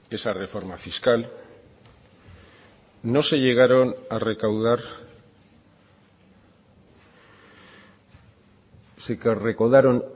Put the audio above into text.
esa reforma fiscal no se llegaron a recaudar se recaudaron